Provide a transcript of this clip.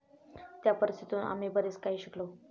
त्या परिस्थितीतून आम्ही बरेच काही शिकलो.